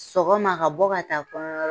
Sɔgɔma ka bɔ ka taa kɔɲɔyɔrɔ